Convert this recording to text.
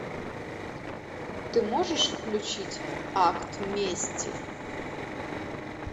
ты можешь включить акт мести